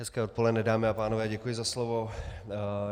Hezké odpoledne, dámy a pánové, děkuji za slovo.